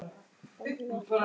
Það eru alltaf tveir